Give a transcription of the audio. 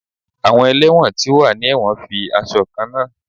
Awọn ẹlẹwọn ti o wa ni ẹwọn fi aṣọ kanna.